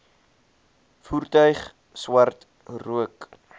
voertuig swart rook